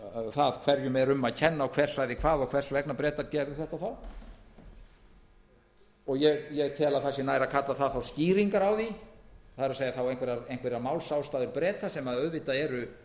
það hverjum er um að kenna og hver sagði hvað og hvers vegna bretar gerðu þetta ég tel nær að kalla það þá skýringar á því það er einhverjar málsástæður breta sem auðvitað eru